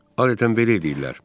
Adətən belə eləyirlər.